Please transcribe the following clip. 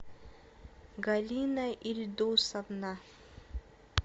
галина ильдусовна